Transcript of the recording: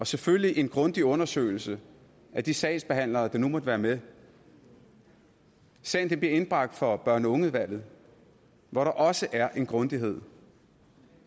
selvfølgelig en grundig undersøgelse af de sagsbehandlere der nu måtte være med sagen bliver indbragt for børn og unge udvalget hvor der også er en grundighed